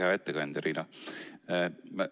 Hea ettekandja Riina!